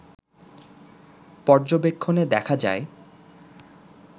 পর্যবেক্ষণে দেখা যায়